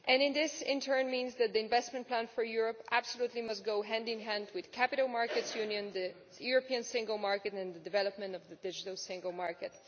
This, in turn, means that the investment plan for Europe must absolutely go hand in hand with the Capital Markets Union, the European single market and the development of the digital single market.